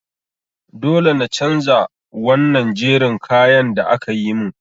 Dole na chanja wannan jerin kayan da akayi min.